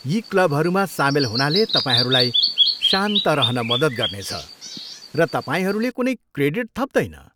यी क्लबहरूमा सामेल हुनाले तपाईँहरूलाई शान्त रहन मद्दत गर्नेछ, र तपाईँहरूले कुनै क्रेडिट थप्दैन।